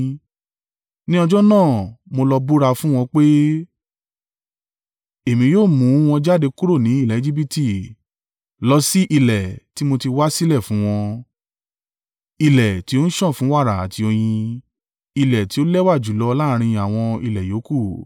Ní ọjọ́ náà mo lọ búra fún wọn pé, èmi yóò mú wọn jáde kúrò ni ilẹ̀ Ejibiti lọ sí ilẹ̀ ti mo ti wá sílẹ̀ fún wọn, ilẹ̀ tí ó ń sàn fún wàrà àti oyin, ilẹ̀ tí ó lẹ́wà jùlọ láàrín àwọn ilẹ̀ yòókù.